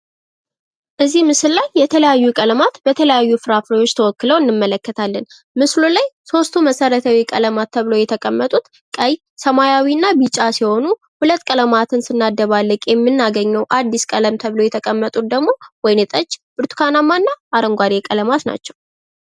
እዚህ ምስል ላይ የተለያዩ ቀለማት በተለያዩ ፍራፍሬዎች ተወክለው እንመለከታለን። ምስሉ ላይ ሶስቱ መሰረታዊ ቀለማት ተብለው የተቀመጡት ቀይ፣ ሰማያዊ እና ቢጫ ሲሆኑ ፤ ሁለት ቀለማትን ስናደባልቅ የምናገኘው አዲስ ቀለም ተብሎ የተቀመጡት ደግሞ ወይን ጠጅ፣ ብርቱካናማ እና አረንጓዴ ቀለማት ናቸው።